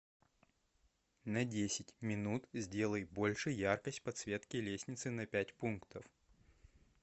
на десять минут сделай больше яркость подсветки лестницы на пять пунктов